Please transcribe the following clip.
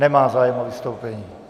Nemá zájem o vystoupení.